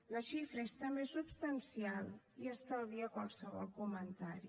la xifra és també substancial i estalvia qualsevol comentari